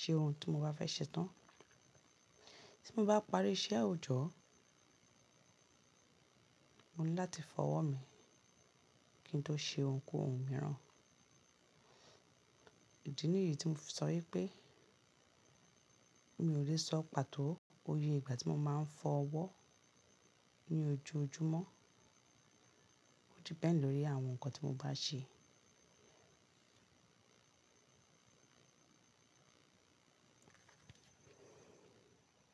ṣe ohun tí mo bá fẹ́ ṣe tán. Tí mo bá parí iṣẹ́ òjọ́, mo ní láti fọ ọwọ́ mi kí n tó ṣe ohunkóhun mìíràn. Ìdí nìyí tí mo sọ wípé mi ò lè sọ pàtó oyè ìgbà tí mo máa ń fọ ọwọ́ ní ojoojúmọ́. Ó di pẹ̀ lórí àwọn ǹkan tí mo bá ṣe.